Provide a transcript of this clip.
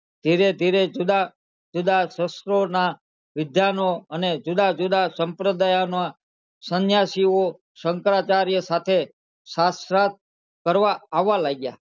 ધીરે ધીરે જુદા જુદા શસ્ત્ર ના વિદ્યાનો અને જુદા જુદા સંપ્રદાય ના સંન્યાસી ઓ શંકરાચાર્ય સાથે શાશ્રત કરવા આવવા લાગ્યા